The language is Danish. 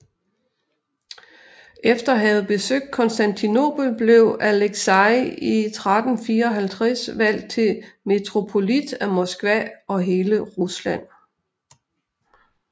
Efter at have besøgt Konstantinopel blev Aleksij i 1354 valgt til Metropolit af Moskva og hele Rusland